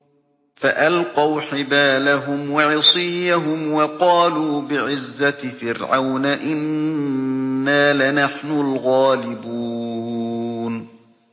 فَأَلْقَوْا حِبَالَهُمْ وَعِصِيَّهُمْ وَقَالُوا بِعِزَّةِ فِرْعَوْنَ إِنَّا لَنَحْنُ الْغَالِبُونَ